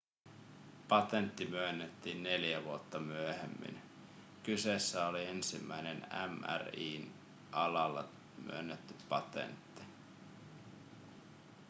patentti myönnettiin neljä vuotta myöhemmin kyseessä oli ensimmäinen mri:n alalla myönnetty patentti